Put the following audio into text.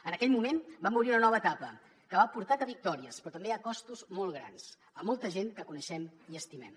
en aquell moment vam obrir una nova etapa que ha portat a victòries però també a costos molt grans a molta gent que coneixem i estimem